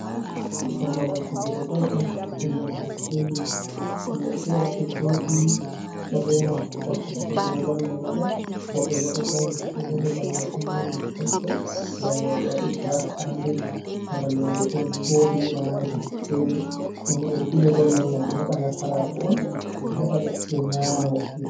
Ɗoo babal fijugo bol on innde may sitediyom. Yimɓe feere ɗo jooɗi ɗo reena wakkati fijugo bol may waɗa. Woɓbe bo ɗo ndari nden bo babal may ɗon mari haske way way ɓe waɗi giras kaarpet. Babal may bo ɗo vooɗi walaa dotti feere ndenbo ɗo fijoa bol may ngam ɓe waɗa nasaraaku on ɓe heba nasarako on ɓe heɓa ɓe nyaama woɓɓe.